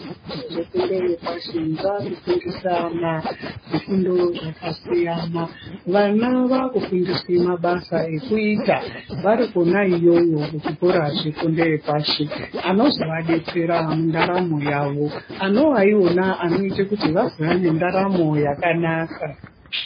Zvikora zvefundo yepashi vakusundisa ma zvifundo zvakasiyana vana vakufundiswe mabasa ekuita vari kona iyoyo kuzvikora zvefundo yepashi azovadetsera mundaramo yavo anovaiwona anoita kuti vazova nendaramo yakanaka.